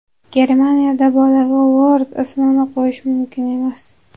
Germaniyada bolaga Lord ismini qo‘yish mumkin emas.